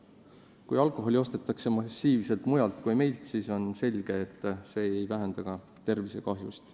Kui alkoholi ostetakse massiliselt mujalt, siis on selge, et see aktsiisitõus ei vähenda ka tervisekahjusid.